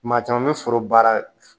Maa caman bɛ foro baara